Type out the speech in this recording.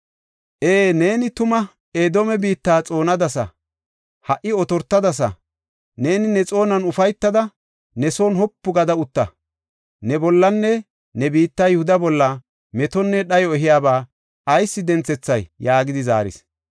Ee, neeni tuma Edoome biitta xoonadasa; ha77i otortadasa. Neeni ne xoonuwan ufaytada, ne son wopu gada utta. Ne bollanne ne biitta Yihuda bolla metonne dhayo ehiyaba ayis denthethay?” yaagidi zaaris.